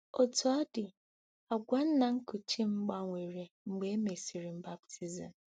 Otú ọ dị, àgwà nna nkuchi m gbanwere mgbe e mesịrị m baptizim.